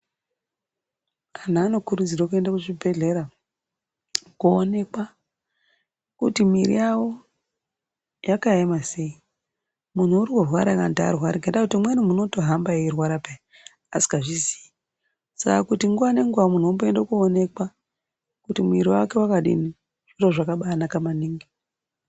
Antu anokurudzirwe kuenda kuzvibhehlera ,koonekwa kuti mwiri yawo yakaema sei, munhu urikurwara ere kana kuti arware, ngendayekuti umweni munhu unotohamba eirwara peya asikazviziyi saka kuti nguwa nenguwa munhu umboende koonekwa kuti mwiri wake wakadini zviro zvakabanaka maningi